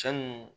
Cɛ nunnu